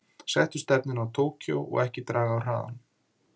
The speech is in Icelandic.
Settu stefnuna á Tókýó og ekki draga af hraðanum.